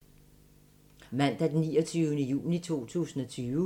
Mandag d. 29. juni 2020